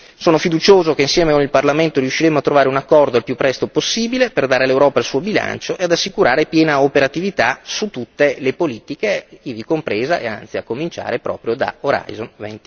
Sono fiducioso che, insieme con il Parlamento, riusciremo a trovare un accordo il più presto possibile, per dare all'Europa il suo bilancio ed assicurare piena operatività su tutte le politiche, ivi compresa e anzi a cominciare proprio da Horizon